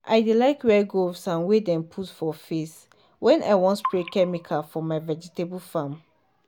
i dey like wear gooves and wey dem dey put for face when i wan spray chemical for my vegetable farm.